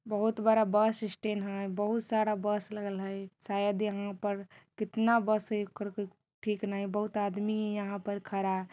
बोहोत बड़ा bus stand है बहोत सारा बस लगल हइ । शायद यहाँ पर कितना बस | बहोत आदमी यहाँ पर खड़ा।